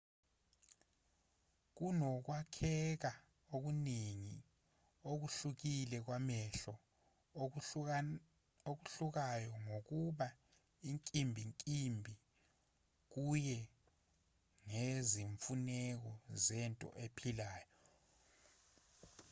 kunokwakheka okuningi okuhlukile kwamehlo okuhlukayo ngokuba inkimbinkimbi kuye ngezimfuneko zento ephilayo